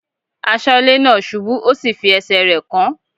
Aṣọ́lẹ́ náà ṣubú ó sì fi ẹsẹ̀ rẹ̀ kán.